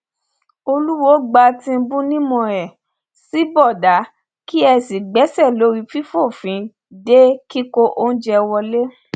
olùwòo gba tìǹbù nímọ ẹ sì bọdà kí ẹ sì gbéṣẹ lórí fífòfin de kíkó oúnjẹ wọlẹ